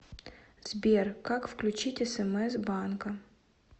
сбер как включить смс банка